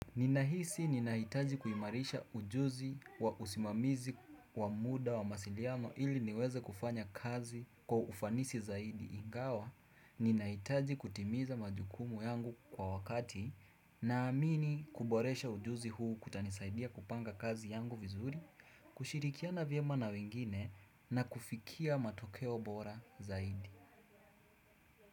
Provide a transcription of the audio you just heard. Ninahisi ninahitaji kuimarisha ujuzi wa usimamizi wa muda wa mawasiliano ili niweze kufanya kazi kwa ufanisi zaidi ingawa ninahitaji kutimiza majukumu yangu kwa wakati naamini kuboresha ujuzi huu kutanisaidia kupanga kazi yangu vizuri. Kushirikiana vyema na wengine na kufikia matokeo bora zaidi.